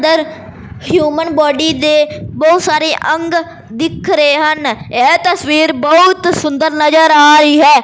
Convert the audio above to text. ਦਰ human body ਦੇ ਬਹੁਤ ਸਾਰੇ ਅੰਗ ਦਿੱਖ ਰਹੇ ਹਨ ਇਹ ਤਸਵੀਰ ਬਹੁਤ ਸੁੰਦਰ ਨਜਰ ਆ ਰਹੀ ਹੈ।